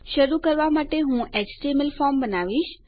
શરૂ કરવા માટે હું એચટીએમએલ ફોર્મ બનાવીશ